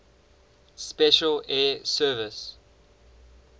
special air service